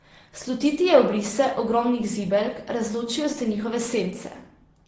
Slutiti je obrise ogromnih zibelk, razločijo se njihove sence.